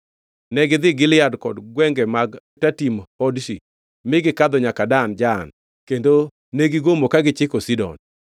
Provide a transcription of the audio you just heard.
Negidhi Gilead kod gwenge mag Tatim Hodshi, mi gikadho nyaka Dan Jaan kendo negigomo ka gichiko Sidon.